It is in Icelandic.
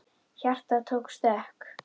Hjartað tók stökk!